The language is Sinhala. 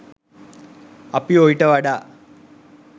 අපි ඔයිට වඩා